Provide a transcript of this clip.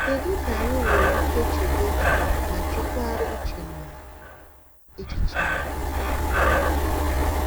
Kedu ka anyị nwere ike chebe ma jikwaa uche na echiche anyị? anyị?